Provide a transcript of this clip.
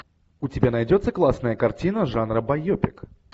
у тебя найдется классная картина жанра байопик